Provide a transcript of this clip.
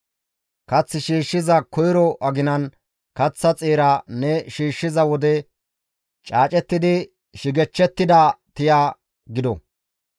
Kath shiishshiza koyro aginan kaththa xeera ne shiishshiza wode caacettidi shigechchettida tiya gido.